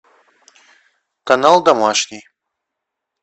канал домашний